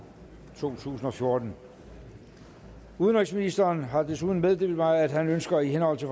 to tusind og fjorten udenrigsministeren har desuden meddelt mig at han ønsker i henhold til